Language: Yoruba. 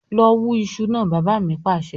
"lọ wù iṣu náà" bàbá mi Pàṣẹ.